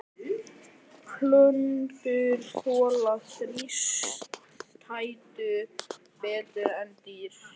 Plöntur þola þrístæður betur en dýr.